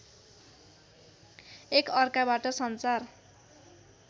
एक अर्काबाट सञ्चार